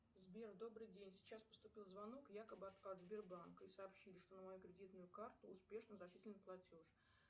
сбер добрый день сейчас поступил звонок якобы от сбербанка и сообщили что на мою кредитную карту успешно зачислен платеж